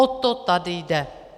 O to tady jde.